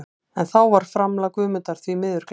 En þá var framlag Guðmundar því miður gleymt.